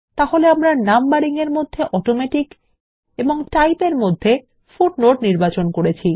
তাহলে আমরা নাম্বারিং এর মধ্যে অটোমেটিক এবং টাইপ এর মধ্যে ফুটনোট নির্বাচন করেছি